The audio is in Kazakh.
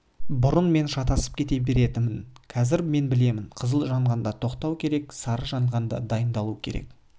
бұрын мен шатасып кете беретінмін қазір мен білемін қызыл жанғанда тоқтау керек сары жанғанда дайындалу керек